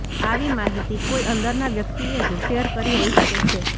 આવી માહિતી કોઇ અંદરના વ્યક્તિએ જ શેર કરી હોઇ શકે છે